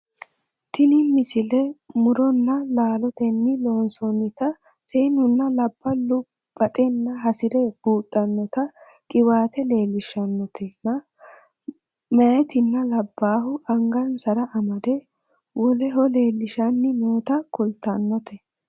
tini misile muronna laalotenni loonsoonnita seennunna labballu baxenna hasire buudhannota qiwaate leellishshanotenna mayeetinna labbaahu angansara amade woleho leellishsanni noota kultannote